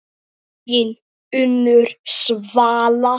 Þín Unnur Svala.